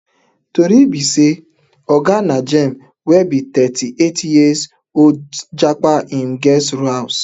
tori be say oga najeem wey be thirty-eight years old japa hin guest house